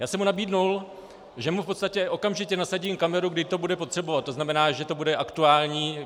Já jsem mu nabídl, že mu v podstatě okamžitě nasadím kameru, kdy to bude potřebovat, to znamená, že to bude aktuální.